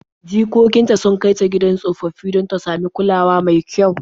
Jikokin ta sun kai ta gidan tsofaffi don ta samu kulawa mai kyau.